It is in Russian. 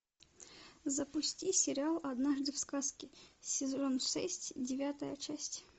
запусти сериал однажды в сказке сезон шесть девятая часть